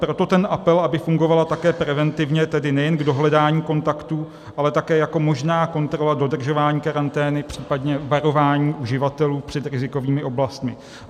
Proto ten apel, aby fungovala také preventivně, tedy nejen k dohledání kontaktů, ale také jako možná kontrola dodržování karantény, případně varování uživatelů před rizikovými oblastmi.